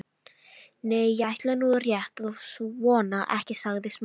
Nei, ég ætla nú rétt að vona ekki- sagði Smári.